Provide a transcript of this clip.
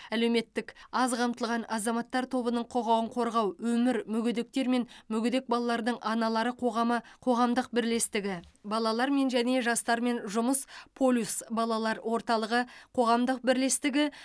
әлеуметтік аз қамтылған азаматтар тобының құқығын қорғау өмір мүгедектер мен мүгедек балалардың аналары қоғамы қоғамдық бірлестігі балалармен және жастармен жұмыс полюс балалар орталығы қоғамдық бірлестігі